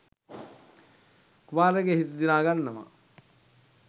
කුමාරයාගේ හිත දිනා ගන්නවා.